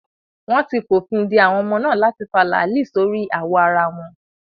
Wọ́n ti fòfin de àwọn ọmọ náà láti fa láàlì sórí awọ ara wọn.